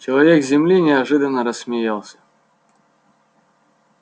человек с земли неожиданно рассмеялся